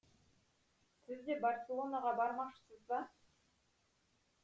сіз де барселонаға бармақшысыз ба